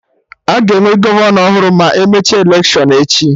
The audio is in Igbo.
Aga enwe gọvanọ ọhụrụ ma emecha electiọnụ echi?